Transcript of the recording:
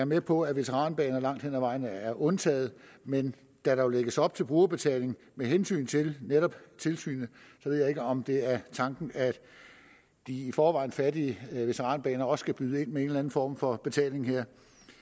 med på at veteranbaner langt hen ad vejen er undtaget men da der jo lægges op til brugerbetaling med hensyn til tilsynet ved jeg ikke om det er tanken at de i forvejen fattige veteranbaner også skal byde ind med en eller anden form for betaling her